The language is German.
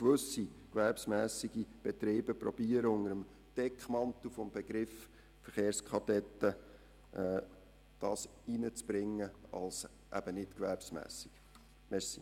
Gewisse gewerbsmässige Betriebe könnten versuchen, unter dem Deckmantel des Begriffs «Verkehrskadetten» ihre Dienstleistungen als «nicht gewerbsmässig» zu verkaufen.